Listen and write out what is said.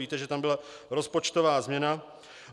Víte, že tam byla rozpočtová změna.